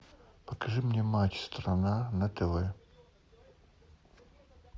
покажи мне матч страна на тв